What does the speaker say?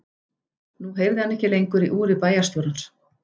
Nú heyrði hann ekki lengur í úri bæjarstjórans.